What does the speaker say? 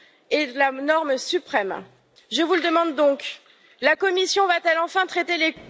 est la norme suprême. Je vous le demande donc, la Commission va t elle enfin traiter les